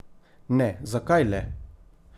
Ne, zakaj le?